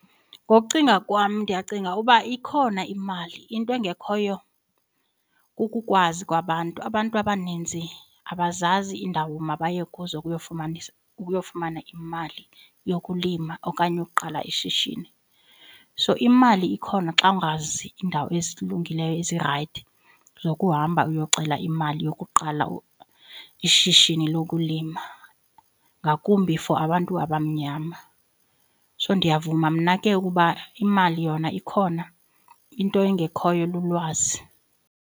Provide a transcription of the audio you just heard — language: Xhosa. Ngokucinga kwam ndiyacinga uba ikhona imali into engekhoyo kukukwazi kwabantu. Abantu abaninzi abazazi iindawo mabaye kuzo ukuyofumana imali yokulima okanye yokuqala ishishini. So imali ikhona xa ungazi iindawo ezilungileyo ezirayithi zokuhamba uyocela imali yokuqala ishishini lokulima ngakumbi for abantu abamnyama. So ndiyavuma mna ke ukuba imali yona ikhona into engekhoyo lulwazi.